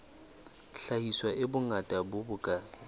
hlahiswa e bongata bo bokae